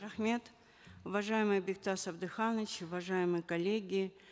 рахмет уважаемый бектас абдыханович уважаемые коллеги